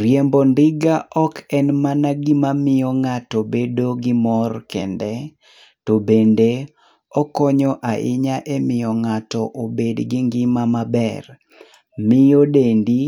Riembo ndiga ok en mana gima miyo ng'ato bedo gi mor kende,,to bende okonyo ahinya emiyo ng'ato obed gi ngima maber. Miyo dendi